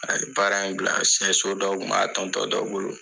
A ye baara in bila siɲɛso dɔ tun b'a tɔn tɔn dɔ bolo